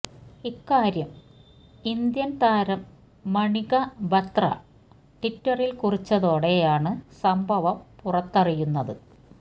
ഇക്കാര്യം ഇന്ത്യന് താരം മണിക ബത്ര ട്വിറ്ററില് കുറിച്ചതോടെയാണ് സംഭവം പുറത്തറിയുന്നത്